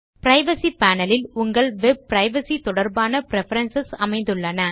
privacy panel இல் உங்கள் web privacy தொடர்பான பிரெஃபரன்ஸ் அமைந்துள்ளன